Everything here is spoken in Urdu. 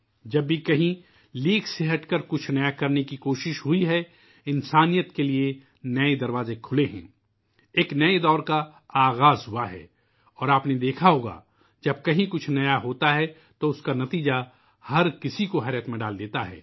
جب بھی کہیں لیگ سے ہٹ کر کچھ نیا کرنے کی کوشش ہوئی ہے ، انسانیت کے لئے نئے دروازے کھلے ہیں ، ایک نئے دور کا آغاز ہوا ہے اور آپ نے دیکھا ہوگا کہ جب کہیں بھی کوئی نیا واقعہ ہوتا ہے تو اس کا نتیجہ سب کو حیرت میں ڈال دیتا ہے